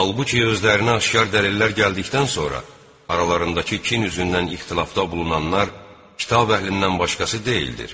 Halbuki özlərinə aşkar dəlillər gəldikdən sonra aralarındakı kin üzündən ixtilafda bulunanlar kitab əhlindən başqası deyildir.